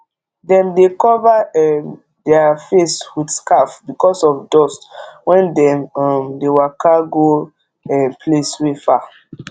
dem dey cover um der face with scarf because of dust when dem um dey waka go um place wey far